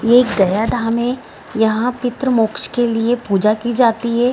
ये गया धाम है यहाँ पितृ मोक्ष के लिए पूजा की जाती है ।